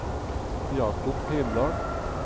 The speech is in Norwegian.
Jacob Heimdal